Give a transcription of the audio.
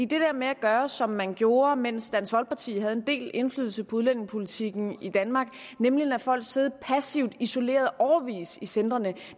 det der med at gøre som man gjorde mens dansk folkeparti havde en del indflydelse på udlændingepolitikken i danmark nemlig at lade folk sidde passivt isoleret i centrene